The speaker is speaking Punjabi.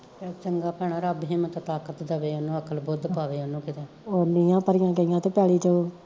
ਚੱਲ ਚੰਗਾ ਭੈਣਾਂ ਰੱਬ ਹਿਮਤ ਤਾਖਤ ਦੇਵੇ ਉਹਨੂੰ ਅਕਲ ਬੁੱਧ ਪਾਵੈ ਉਹਨੂੰ ਕਿਤੇ